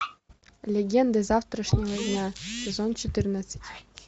легенды завтрашнего дня сезон четырнадцать